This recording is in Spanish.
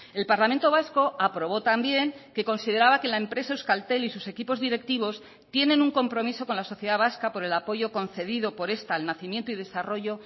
el parlamento vasco aprobó también que consideraba que la empresa euskaltel y sus equipos directivos tienen un compromiso con la sociedad vasca por el apoyo concedido por esta al nacimiento y desarrollo